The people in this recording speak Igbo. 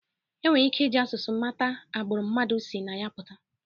E nwere ike iji asụsụ mata agbụrụ mmadụ si na ya pụta